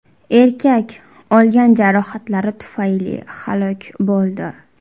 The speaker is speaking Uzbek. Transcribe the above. Erkak olgan jarohatlari tufayli halok bo‘ldi.